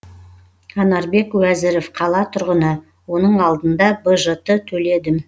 анарбек уәзіров қала тұрғыны оның алдында бжт төледім